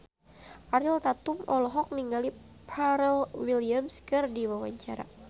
Ariel Tatum olohok ningali Pharrell Williams keur diwawancara